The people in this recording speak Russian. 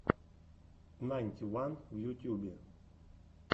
найнти ван в ютюбе